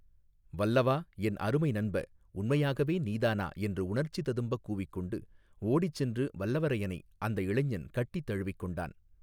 வல்லவா என் அருமை நண்ப உண்மையாகவே நீதானா என்று உணர்ச்சி ததும்பக் கூவிக்கொண்டு ஓடிச் சென்று வல்லவரையனை அந்த இளைஞன் கட்டித் தழுவிக் கொண்டான்.